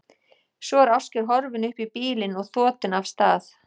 Svo er Ásgeir horfinn upp í bílinn og þotinn af stað.